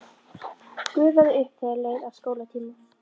Gufaði upp þegar leið að skólatíma.